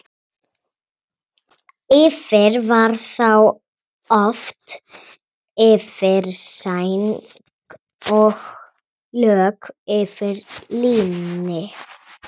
Yfir var þá oft yfirsæng og lök af líni.